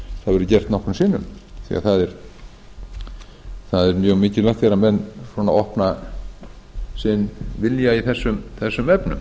hefur verið gert nokkrum sinnum því að það er mjög mikilvægt þegar menn svona opna sinn vilja í þessum efnum